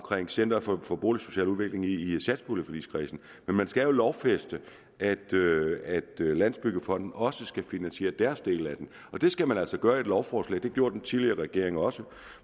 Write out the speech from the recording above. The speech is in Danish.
center for for boligsocial udvikling i satspuljeforligskredsen men man skal jo lovfæste at landsbyggefonden også skal finansiere deres del af det og det skal man altså gøre i et lovforslag det gjorde den tidligere regering også